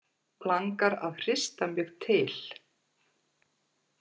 Langar að hrista mig til.